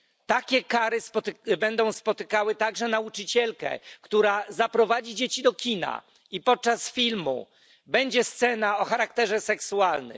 Takie kary spotkają także nauczycielkę, która zaprowadzi dzieci do kina i podczas filmu będzie scena o charakterze seksualnym.